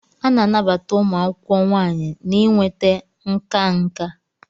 A na-anabata ụmụ akwụkwọ nwanyị na inweta nka nka.